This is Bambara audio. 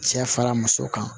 Cɛ fara muso kan